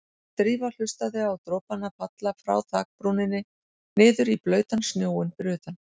Drífa hlustaði á dropana falla frá þakbrúninni niður í blautan snjóinn fyrir utan.